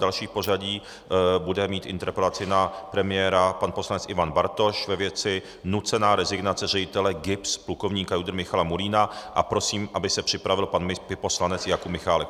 Další v pořadí bude mít interpelaci na premiéra pan poslanec Ivan Bartoš ve věci nucená rezignace ředitele GIBS plukovníka JUDr. Michala Murína a prosím, aby se připravil pan poslanec Jakub Michálek.